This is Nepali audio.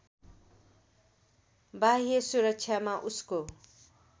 बाह्य सुरक्षामा उसको